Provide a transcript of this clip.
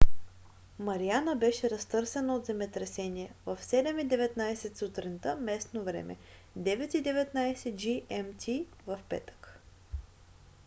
мариана беше разтърсена от земетресение в 07:19 сутринта местно време 09:19 gmt в петък